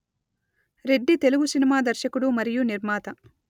Reddy Telugu cinema దర్శకుడు మరియు నిర్మాత